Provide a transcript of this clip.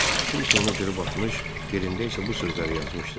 Kimsə onu cırıb atmış, yerində isə bu sözləri yazmışdı: